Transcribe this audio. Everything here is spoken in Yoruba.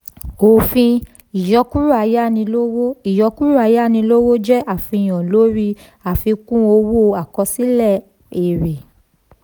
òfin: ìyọkúrò ayánilówó ìyọkúrò ayánilówó jẹ́ àfihàn lóri àfikún owó àkọsílẹ̀ èrè.